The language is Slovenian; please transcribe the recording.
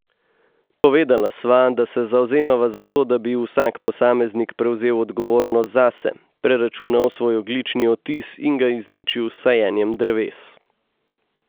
Povedala sva, da se zavzemava za to, da bi vsak posameznik prevzel odgovornost zase, preračunal svoj ogljični odtis in ga izničil s sajenjem dreves.